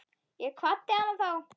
Ég kvaddi hana þá.